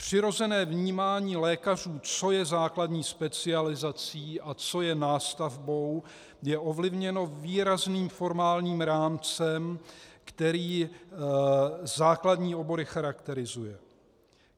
Přirozené vnímání lékařů, co je základní specializací a co je nástavbou, je ovlivněno výrazným formálním rámcem, který základní obory charakterizuje.